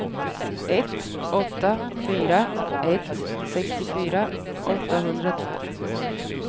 ett åtta fyra ett sextiofyra åttahundratvå